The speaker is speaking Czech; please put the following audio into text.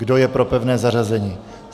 Kdo je pro pevné zařazení?